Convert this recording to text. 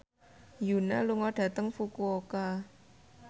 Yoona lunga dhateng Fukuoka